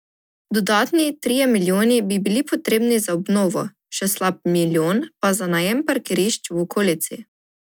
Dodatni trije milijoni bi bili potrebni za obnovo, še slab milijon pa za najem parkirišč v okolici.